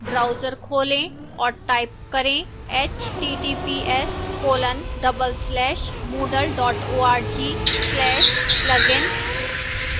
browser खोलें और type करें